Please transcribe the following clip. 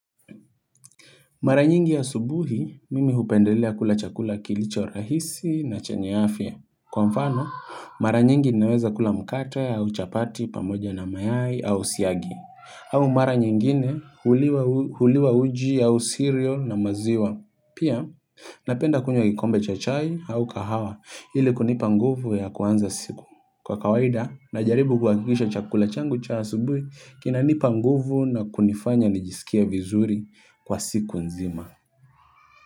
Mara nyingi asubuhi, mimi hupendelea kula chakula kilicho rahisi na chenye afya. Kwa mfano, mara nyingi naweza kula mkate au chapati pamoja na mayai au siagi. Au mara nyingine huliwa uji au sirio na maziwa. Pia, napenda kunywa kikombe cha chai au kahawa ili kunipa nguvu ya kuanza siku. Kwa kawaida na jaribu kuhakikisha chakula changu cha asubuhu kinanipa nguvu na kunifanya nijisikie vizuri kwa siku nzima.